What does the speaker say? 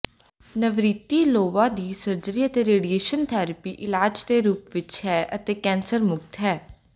Navratilova ਦੀ surgery ਅਤੇ radiation therapy ਇਲਾਜ ਦੇ ਰੂਪ ਵਿੱਚ ਹੈ ਅਤੇ ਕੈਂਸਰ ਮੁਕਤ ਹੈ